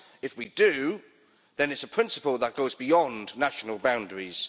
If we do, then it is a principle that goes beyond national boundaries.